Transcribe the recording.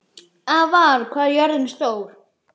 Ævarr, hvað er jörðin stór?